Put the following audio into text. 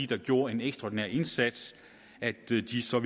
der gjorde en ekstraordinær indsats de ville så